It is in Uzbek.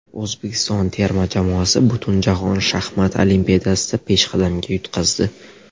O‘zbekiston terma jamoasi Butunjahon shaxmat olimpiadasida peshqadamga yutqazdi.